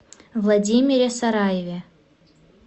владимире сараеве